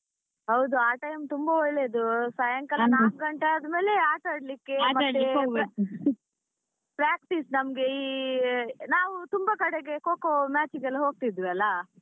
ಹೌದು ಆ time ತುಂಬಾ ಒಳ್ಳೆದು ಸಾಯಂಕಾಲ ನಾಕ್ ಗಂಟೆ ಆದ್ಮೇಲೆ ಆಟಾಡ್ಲಿಕ್ಕೆ ಮತ್ತೆ practice ನಮ್ಗೆ ನಾವು ತುಂಬಾ ಕಡೆಗೆ Kho kho match ಗೆ ಎಲ್ಲ ಹೋಗ್ತಿದ್ವಿ ಅಲ್ಲಾ.